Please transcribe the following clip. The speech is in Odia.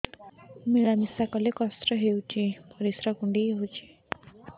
ମିଳା ମିଶା କଲେ କଷ୍ଟ ହେଉଚି ପରିସ୍ରା କୁଣ୍ଡେଇ ହଉଚି